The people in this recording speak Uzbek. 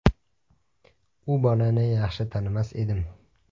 U bolani yaxshi tanimas edim.